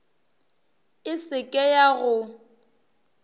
e se ke ya go